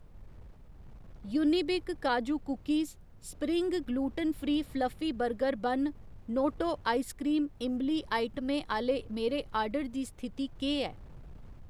Unibic काजू cookies, spring gluten free fluffy burger bun, Noto ice cream इंबली आइटमें आह्‌ले मेरे आर्डर दी स्थिति केह् ऐ